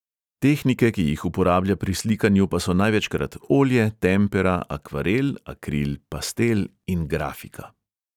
Tehnike, ki jih uporablja pri slikanju, pa so največkrat olje, tempera, akvarel, akril, pastel in grafika.